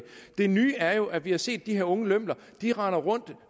det nye er jo at vi har set at de her unge lømler render rundt